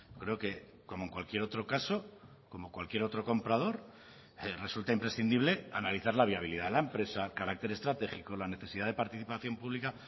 creo que como en cualquier otro caso como cualquier otro comprador resulta imprescindible analizar la viabilidad de la empresa carácter estratégico la necesidad de participación pública